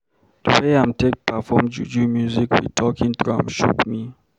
Di way im take perform Juju music wit talking drum shock me.